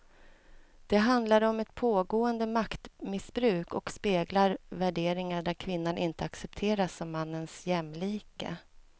Det handlar om ett pågående maktmissbruk och speglar värderingar där kvinnan inte accepteras som mannens jämlike.